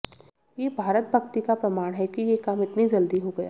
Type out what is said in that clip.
ये भारत भक्ति का प्रमाण है कि ये काम इतनी जल्दी हो गया